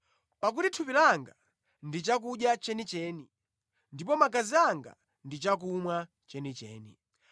Pakuti thupi langa ndi chakudya chenicheni ndipo magazi anga ndi chakumwa chenicheni.